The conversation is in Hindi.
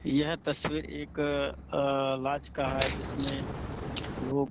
यहाँ तस्वीर एक लाज का है जिसमें लोग --